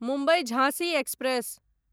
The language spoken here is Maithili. मुम्बई झाँसी एक्सप्रेस